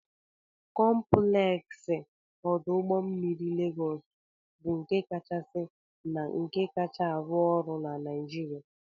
Compleksi odu Ugbo mmiri Legos bụ nke kachasị na nke kacha arụ ọrụ na Nigeria.